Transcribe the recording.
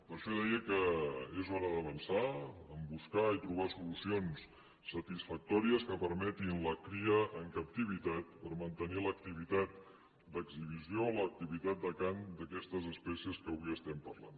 per això deia que és hora d’avançar en buscar i trobar solucions satisfactòries que permetin la cria en captivitat per mantenir l’activitat d’exhibició l’activitat de cant d’aquestes especies de què avui estem parlant